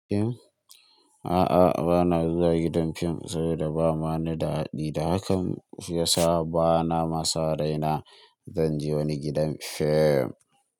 A'a bana zuwa gidan fim saboda ba ma ni da haɗi da hakan shiyasa ba na ma saon raina zan je wani gidan fim.